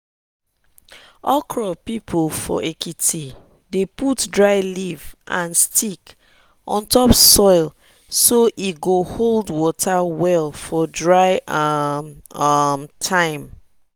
okra people for ekiti dey put dry leaf and stick on top soil so e go hold water well for dry um um time.